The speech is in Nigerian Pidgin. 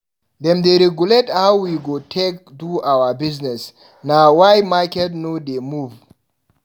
Dem dey regulate how we go take do our business, na why market no dey move.